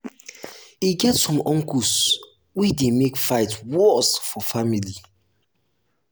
e get some uncles wey dey make fight worst for family.